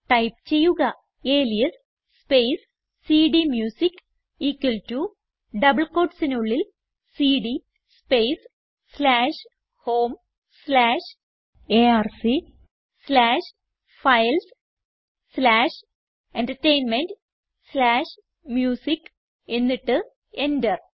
type ചെയ്യുക alias space സിഡിഎംയൂസിക്ക് equal to double quotesനുള്ളിൽ cd space slash home slash arc slash files slash entertainment slash music എന്നിട്ട് enter